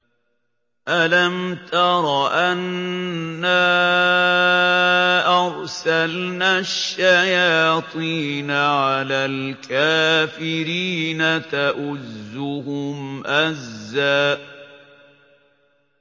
أَلَمْ تَرَ أَنَّا أَرْسَلْنَا الشَّيَاطِينَ عَلَى الْكَافِرِينَ تَؤُزُّهُمْ أَزًّا